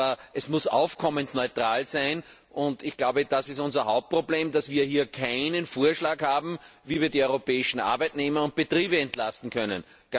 Aber es muss aufkommensneutral sein, und ich glaube, das ist unser Hauptproblem, dass wir hier keinen Vorschlag haben, wie wir die europäischen Arbeitnehmer und Betriebe entlasten können.